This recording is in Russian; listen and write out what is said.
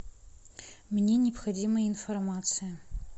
мне необходима информация